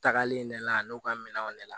Tagalen de la a n'u ka minɛnw de la